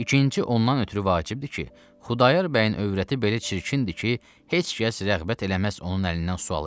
İkinci ondan ötrü vacibdir ki, Xudayar bəyin övrəti belə çirkindir ki, heç kəs rəğbət eləməz onun əlindən su alıb içsin.